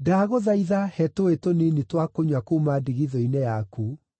“Ndagũthaitha, he tũũĩ tũnini twa kũnyua kuuma ndigithũ-inĩ yaku.”